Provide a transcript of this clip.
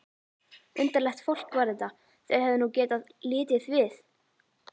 Undarlegt fólk var þetta, þau hefðu nú getað litið við!